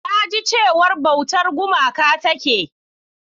Na ji cewa bautar gumaka take.